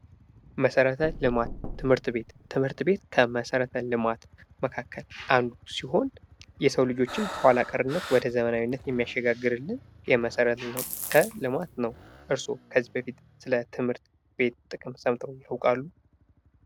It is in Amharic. መሠረት ልማት ትምህርት ቤት ትምህርት ቤት ከመሠረተ ልማት መካከል አንዱ ሲሆን የሰው ልጆችን ከኋላ ቀርነት ወደ ዘመናዊነት የሚያሸጋግርልን ይህ መሠረተ ልማት ነው። እርሶ ከዚህ በፊት ስለትምህርት ቤት ጥቅም ሰምተው ያውቃሉ?